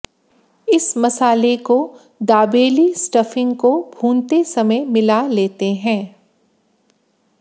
इस मसाले को दाबेली स्टफिंग को भूनते समय मिला लेते हैं